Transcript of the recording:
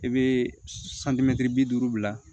I bɛ santimɛtiri bi duuru bila